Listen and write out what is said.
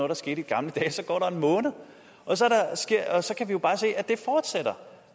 der skete i gamle dage så går der en måned og så og så kan vi jo bare se at det fortsætter